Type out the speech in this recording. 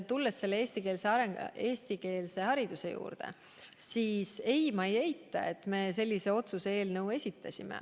Tulles eestikeelse hariduse juurde, ma ei eita, et me sellise otsuse eelnõu esitasime.